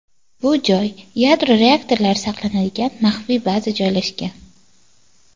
Bu joy yadro raketalari saqlanadigan maxfiy baza joylashgan.